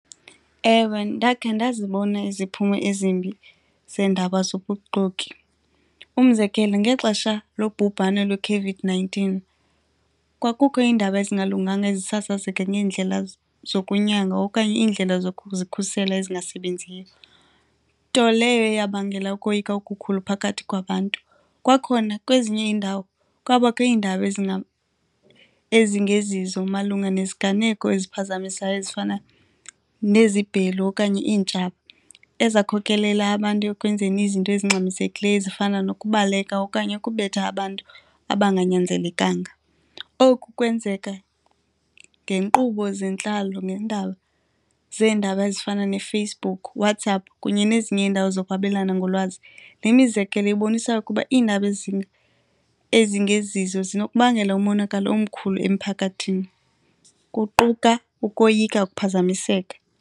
Ewe, ndakhe ndazibona iziphumo ezimbi zeendaba zobuxoki. Umzekelo, ngexesha lobhubhane lweCOVID-nineteen kwakukho iindaba ezingalunganga ezisasazeka ngeendlela zokunyanga okanye indlela zokuzikhusela ezingasebenziyo, nto leyo eyabangela ukoyika okukhulu phakathi kwabantu. Kwakhona, kwezinye iindawo kwabakho iindaba ezingezizo malunga neziganeko eziphazamisayo ezifana nezibhelu okanye iintshaba ezakhokelela abantu ekwenzeni izinto ezingxamisekileyo ezifana nokubaleka okanye ukubetha abantu abanganyanzelekanga. Oku kwenzeka ngeenkqubo zentlalo neendaba zeendaba ezifana neFacebook, WhatsApp kunye nezinye iindawo zokwabelana ngolwazi. Le mizekelo ibonisa ukuba iindaba ezingezizo zinokubangela umonakalo omkhulu emphakathini, kuquka ukoyika ukuphazamiseka.